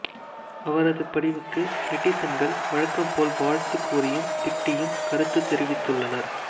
அவரது படிவுக்கு நெட்டீசன்கள் வழக்கம் போல வாழ்த்து கூறியும் திட்டியும் கருத்து தெரிவித்துள்ளனர்